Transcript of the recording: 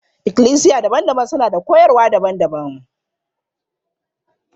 Ikklisiya daban-daban suna da koyarwa daban-daban.